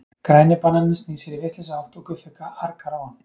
Græni bananinn snýr sér í vitlausa átt og Guffi argar á hann.